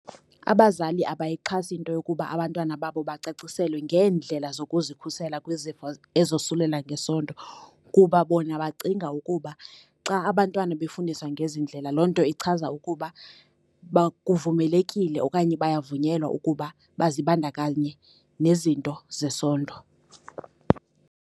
Abazali abayixhasi into yokuba abantwana babo bacaciselwe ngeendlela zokuzikhusela kwizifo ezosulela ngesondo, kuba bona bacinga ukuba xa abantwana befundiswa ngezi ndlela loo nto ichaza ukuba kuvumelekile okanye bayavunyelwa ukuba bazibandakanye nezinto zesondo.